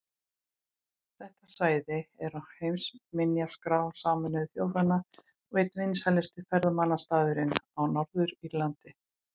Þeir eru mjög góðir í skyndisóknum og við vildum ekki gefa þeim möguleika á þeim.